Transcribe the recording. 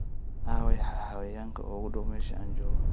aaway xayawaanka ugu dhow meesha aan joogo